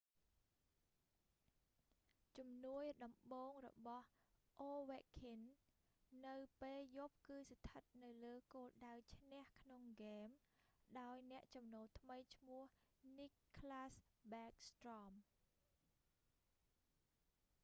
ជំនួយដំបូងរបស់ ovechkin នៅពេលយប់គឺស្ថិតនៅលើគោលដៅឈ្នះក្នុងហ្គេម ដោយអ្នកចំនូលថ្មីឈ្មោះ nicklas backstrom